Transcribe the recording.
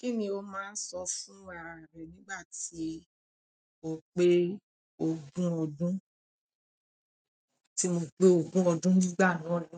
Kí ni o máa ń sọ fún ara rẹ nígbà tí o pé ogún ọdún? Tí mo pé ogún ọdún nígbà náà ni,